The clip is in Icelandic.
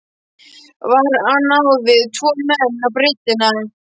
Var hann á við tvo menn á breiddina?